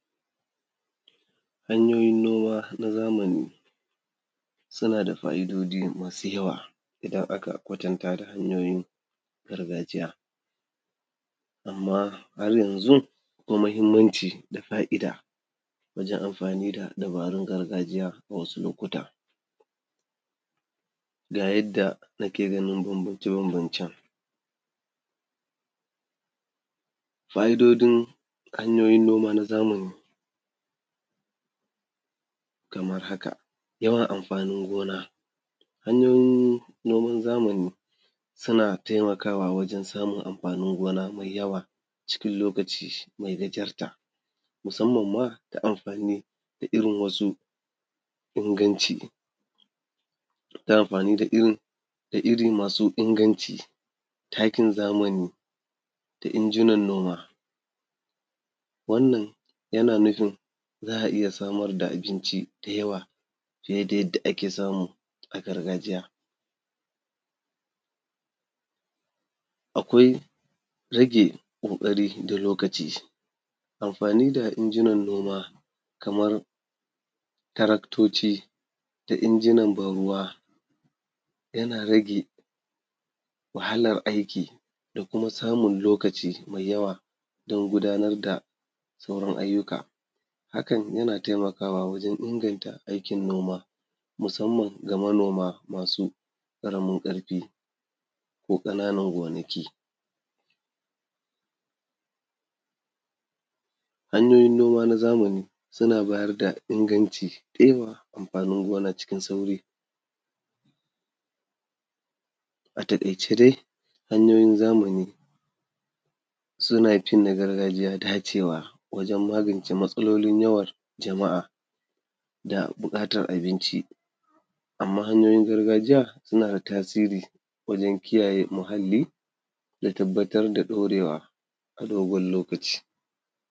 Hanyoyin noma na zamani suna da fa’idoji masu yawa idan aka kwatanta hanyoyin gargajiya. Amma a yanzu akwai muhimmanci da fa’ida wajen amfani da dabarun gargajiya a wasu lokuta. Ga yadda ake ganin bambance-bambancen: fa’idojin hanyoyin noma na zamani kamar haka: yawan amfanin gona, hanyoyin noman zamani suna taimakawa wajen amfanin gona mai yawa cikin lokaci mai gajarta, musamman ma ta amfani da irin wasu inganci, ta amfani da irin da iri masu inganci, takin zamani da injinan noma. Wannan yana nufin za a iya samar da abinci da yawa, fiye da yadda ake samu a gargajiya. Akwai rage ƙoƙari da lokaci, amfani da injinan noma kamar taraktoci da injinan ban-ruwa yana rage wahalar aiki da kuma samun lokaci mai yawa don gudanar da sauran ayyuka. Hakan yana taimakawa wajen inganta aikin noma, musammanga manoma masu ƙaramin ƙarfi ko ƙananan gonaki. Hanyoyin noma na zamani suna bayar da inganci da yawan amfanin noma cikin sauri. A taƙaice dai, hanyoyin zamani suna fin na gargajiya dacewa wajen magance matsalolin yawan jama’a da buƙatar abinci. Amma hanyoyin gargajiya, suna tasiri wajen kiyaye muhalli da tabbatar da ɗorewa a dogon lokaci.